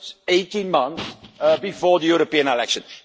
18 months before the European elections.